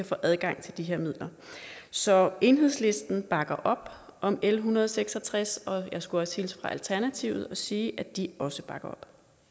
få adgang til de her midler så enhedslisten bakker op om l en hundrede og seks og tres og jeg skulle også hilse fra alternativet og sige at de også bakker